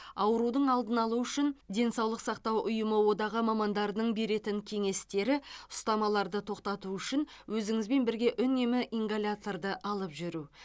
аурудың алдын алу үшін денсаулық сақтау ұйымы одағы мамандарының беретін кеңестері ұстамаларды тоқтату үшін өзіңізбен бірге үнемі ингаляторды алып жүру